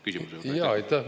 Aitäh!